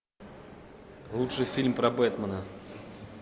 лучший фильм про бэтмена